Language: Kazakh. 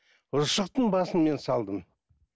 ұршықтың басын мен салдым